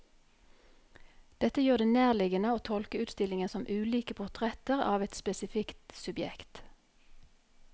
Dette gjør det nærliggende å tolke utstillingen som ulike portretter av et spesifikt subjekt.